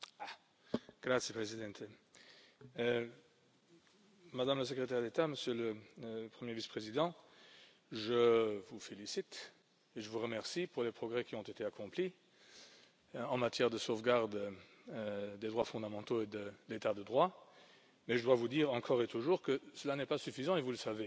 Monsieur le Président, Madame la Secrétaire d'État, Monsieur le premier Vice président, je vous félicite et vous remercie pour les progrès qui ont été accomplis en matière de sauvegarde des droits fondamentaux et de l'état de droit, mais je dois vous dire encore et toujours que cela n'est pas suffisant et vous le savez.